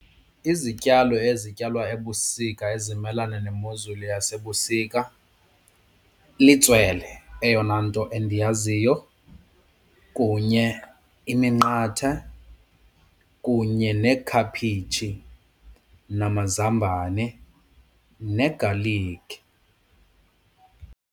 Izityalo ezityalwa ebusika ezimelana nemozulu yasebusika litswele eyona nto endiyaziyo kunye iminqatha kunye neekhaphetshi namazambane negalikhi.